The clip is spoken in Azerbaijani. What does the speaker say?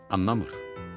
Anlamır.